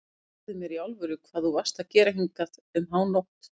Segðu mér í alvöru hvað þú varst að gera hingað um hánótt.